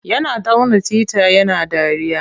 Yana tauna tita yana dariya.